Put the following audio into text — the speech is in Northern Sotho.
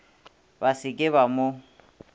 ba se ke ba mo